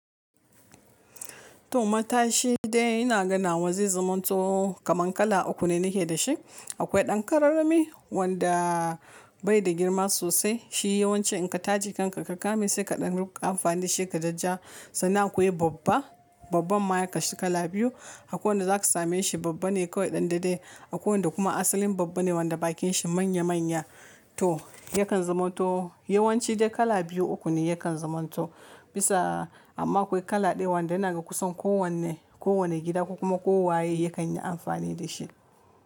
To matashi dai ina ganawa zai zamanto kaman kala uku ne na ke dashi. Akwai ɗan kararrami wanda bai da girma sosai. Shi yawanci in ka taje kanka ka kame sai ka ɗan ruka amfani da shi ka jajja. Sannan akwai babba, babban ma ya kashe kala biyu. Akwai wanda za ka same shi babba ne kawai ɗan daɗe. Akwai wanda asalin babba ne wanda bakin shi manya manya to yakan zaman to yawanci dai kala biyu uku ne yakan zaman to. Bisa amma akwai kala ɗaya wanda ina ga kusan kowane, kowane gida ko kuma kowa ye yakan yi amfani da shi.